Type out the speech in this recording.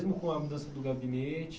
Mesmo com a mudança do gabinete?